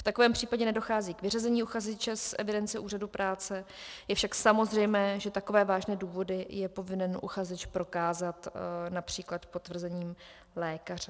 V takovém případě nedochází k vyřazení uchazeče z evidence úřadu práce, je však samozřejmé, že takové vážné důvody je povinen uchazeč prokázat například potvrzením lékaře.